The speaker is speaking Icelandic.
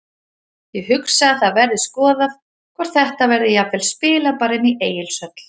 Ég hugsa að það verði skoðað hvort þetta verði jafnvel spilað bara inni í Egilshöll.